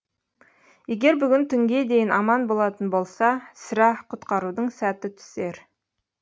егер бүгін түнге дейін аман болатын болса сірә құтқарудың сәті түсер